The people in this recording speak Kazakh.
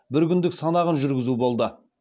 бір күндік санағын жүргізу болды